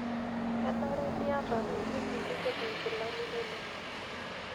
Kenare niyata ewueji nipik inkilkani inono.